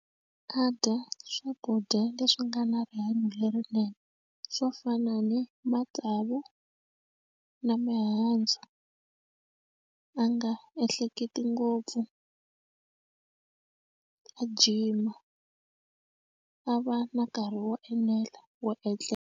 A dya swakudya leswi nga na rihanyo lerinene swo fana ni matsavu na mihandzu a nga ehleketi ngopfu a gym a va na nkarhi wo enela wo etlela.